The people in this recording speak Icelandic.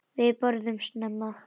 Við borðum snemma.